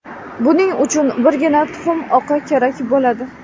Buning uchun birgina tuxum oqi kerak bo‘ladi.